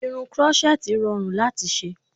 Irun krọ́ṣẹ́tì rọrùn láti ṣe